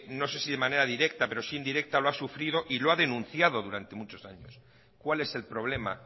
no sé si de manera directa pero si indirecta lo ha sufrido y lo ha denunciado durante muchos años cuál es el problema